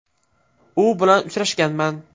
U bilan uchrashganman.